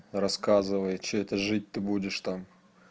рассказывай что это жить ты будешь там